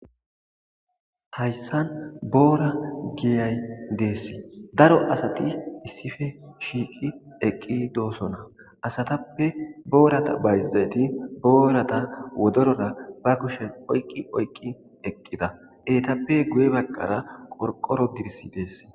Hayssan boora giyay dees daro asati issife shiiqi eqqi doosona asatappe boorata bayzayti boorata wodorora ba kushen oyqqi oyqqi eqqida eetappe guye baqqara qorqoro dirsi dees.